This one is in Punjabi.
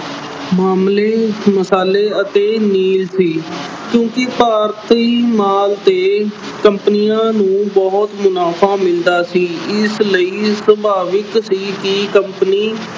ਮਾਮਲੇ ਅਹ ਮਸਾਲੇ ਅਤੇ ਨੀਲ ਸੀ ਕਿਉਂਕਿ ਭਾਰਤੀ ਮਾਲ ਤੇ companies ਨੂੰ ਮੁਨਾਫ਼ਾ ਮਿਲਦਾ ਸੀ ਇਸ ਲਈ ਸੁਭਾਵਿਕ ਸੀ ਕਿ company